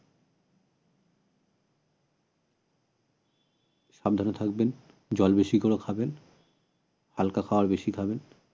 সাবধানে থাকবেন জল বেশি করে খাবেন হালকা খাবার বেশি খাবেন